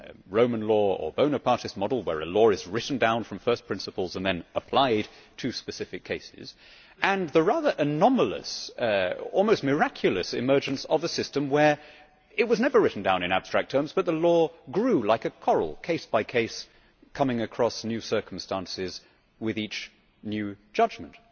Roman law or Bonapartist model, where a law is written down from first principles and then applied to specific cases and the rather anomalous, almost miraculous emergence of a system where it was never written down in abstract terms but the law grew like a coral, case by case, coming across new circumstances with each new judgment.